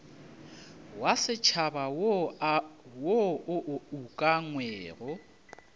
wa setšhaba wo o ukangwego